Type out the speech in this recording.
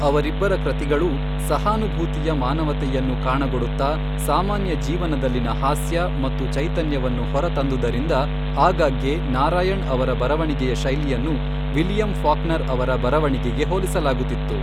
ಅವರಿಬ್ಬರ ಕೃತಿಗಳೂ ಸಹಾನುಭೂತಿಯ ಮಾನವತೆಯನ್ನು ಕಾಣಗೊಡುತ್ತಾ ಸಾಮಾನ್ಯ ಜೀವನದಲ್ಲಿನ ಹಾಸ್ಯ ಮತ್ತು ಚೈತನ್ಯವನ್ನು ಹೊರತಂದುದರಿಂದ, ಆಗಾಗ್ಗೆ ನಾರಾಯಣ್ ಅವರ ಬರವಣಿಗೆಯ ಶೈಲಿಯನ್ನು ವಿಲಿಯಂ ಫಾಕ್ನರ್ ಅವರ ಬರವಣಿಗೆಗೆ ಹೋಲಿಸಲಾಗುತ್ತಿತ್ತು.